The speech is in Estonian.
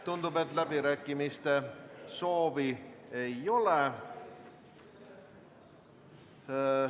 Tundub, et läbirääkimiste soovi ei ole.